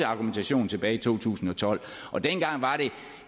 argumentationen tilbage i to tusind og tolv og dengang var det